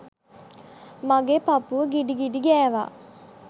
මගෙ පපුව ගිඩි ගිඩි ගෑවා.